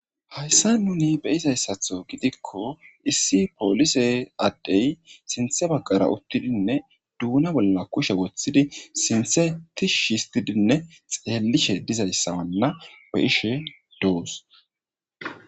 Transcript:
Hayssa nuni be izayssatho gidikko issi poolise addey sinthe baqara uttidinne duuna bolla kushe woththidi sinthetish histidinne xeellishe dizayssawanna weishe doos.